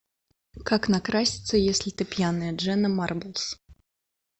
как накраситься если ты пьяная дженна марблс